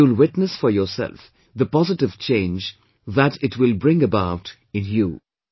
And you'll witness for yourself the positive change that it will bring about in you